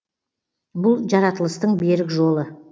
бұл жаратылыстың берік жолы